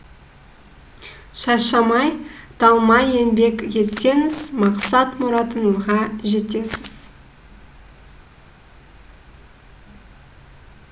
шаршамай талмай еңбек етсеңіз мақсат мұратыңызға жетесіз